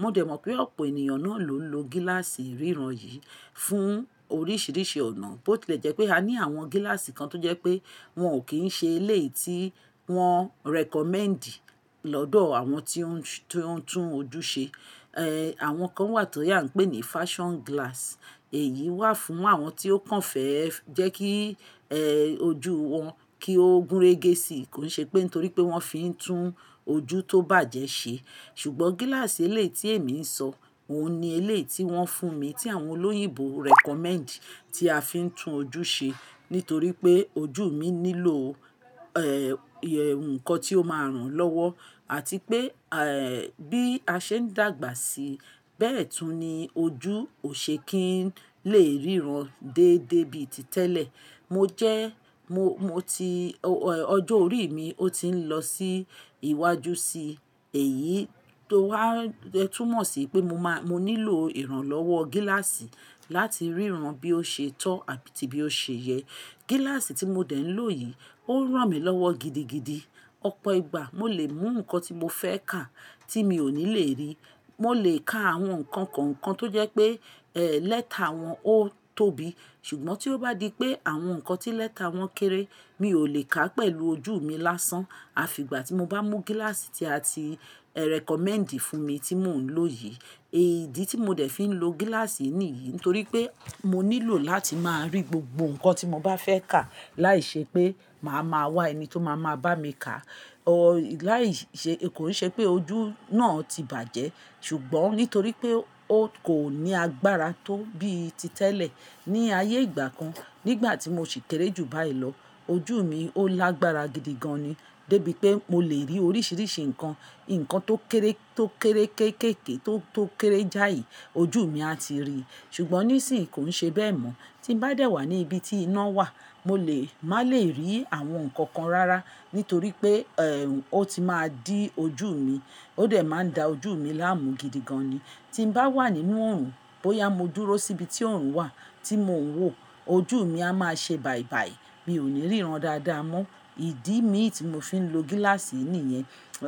Mo dẹ̀ mọ̀ pé ọ̀pọ̀ ènìyàn náà ló ń lo gíláàsì ríran yìí fún oríṣiríṣi ọ̀nà. Bo tilẹ̀ jẹ́ pé a ní àwọn gíláàsì kan tó jẹ́ pé wọ́n ò kí ń ṣe elé tí wọ́n recommend lọ́dọ̀ àwọn tí ó ń tún ojú ṣe. Eh, àwọn kan wà tó yà ń pè ní fashion glass. Èyí wà fún àwọn tí ó kàn fẹ́ jẹ́ kí, ẹ, ojú wọn kí ó gúnrégésì. Kò ń ṣe pé nítorí pé wọ́n fi ń tún ojú tó bàjẹ́ ṣe. Ṣùgbọ́n gíláàsì elé tí èmi ń sọ, òun ni elé tí wọ́n fún mi tí àwọn olóyìnbó recommend tí a fi ń tún ojú ṣe. Nítorí pé ojú mi nílò, ẹ, ohun kan tí ó máa rán lọ́wọ́ àti pé, ẹ, bí a ṣe ń dàgbà sí bẹ́ẹ̀ tún ni ojú ò ṣe kí ń lè ríran déédé bí i títẹ́lẹ̀. Mo jẹ́, mo, mo ti, ọjọ́ orí mi ó ti ń lọ sí iwájú sí, èyí tó wá, ẹ túmọ̀ sí pé mo máa, mo nílò ìrànlọ́wọ́ gíláàsì láti ríran bí ó ṣe tọ́ àbí ti bí ó ṣe yẹ. Gíláàsì tí mo dẹ̀ ń lò yìí ó ń ràn mí lọ́wọ́ gidigidi. Ọ̀pọ̀ ìgbà mo lè mú nǹkan tí mo fẹ́ kà tí mi ò ní lè rí. Mo lè ka àwọn nǹkan kọ̀ọ̀kan tó jẹ́ pé, ẹ, lẹ́tà wọn ó tóbi. Ṣùgbọ́n tí ó bá di pé àwọn nǹkan tí lẹ́tà wọn kéré, mi ò lè kà pẹ̀lú ojú mi lásán. Àfi ìgbà tí mo bá mú gíláàsì tí a ti, ẹ, recommend fún mi tí mò ń lò yìí. Èyí ìdí tí mo dẹ̀ fi ń lo gíláàsì yìí nìyí nítorí pé mo nílò láti máa rí gbogbo nǹkan tí mo bá fẹ́ kà láìṣe pé màá máa wá ẹni tí ó máa ma bá mi kà. O, láìṣe, kò rí ṣe pé ojú náà ti bàjẹ́, ṣùgbọ́n nítorí pé ó kò ní agbára tó bí i títẹ́lẹ̀. Ni ayé ìgbà kan nígbà tí mo sì kéré jù báyìí lọ, ojú mi ó lágbára gidi gan ni dé bí pé mo lè rí oríṣiríṣi nǹkan. Nǹkan tó kéré, tó kéré kékèké tó, tó kéré jáì ojú mi a ti rí. Ṣùgbọ́n nísìń kò ń ṣe bẹ́ẹ̀ mọ́. Tí n bá dẹ̀ wà ní ibi tí iná wà mo lè, má lè rí àwọn nǹkan kan rara nítorí pé, ẹ, ó ti máa dí ojú mi. Ó dẹ̀ máa ń da ojú mi láàmú gidi gan ni. Tí n bá wà nínú oòrùn, bóyá mo dúró síbi tí oòrùn wà tí mò ń wò ojú mi a máa ṣe bàìbàì. Mi ò ní ríran dáadáa mọ́. Ìdí mi tí mo fi ń lo gíláàsì yìí nìyẹn.